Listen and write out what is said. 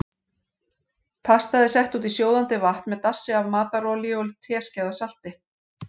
Pastað er sett út í sjóðandi vatn með dassi af matarolíu og teskeið af salti.